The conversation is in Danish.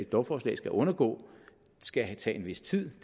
lovforslag skal undergå skal tage en vis tid